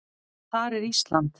Þar er Ísland.